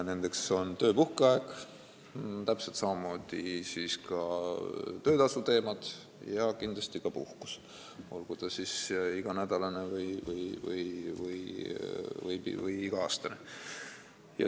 Nendeks on töö- ja puhkeaeg, täpselt samamoodi töötasuteemad ja kindlasti ka puhkus, olgu see siis iganädalane või iga-aastane.